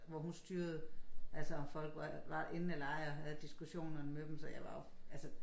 Hvor hun styrede altså om folk var var inde eller ej og havde diskussionerne med dem så var jeg jo altså